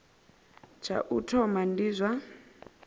tsha u thoma ndi zwa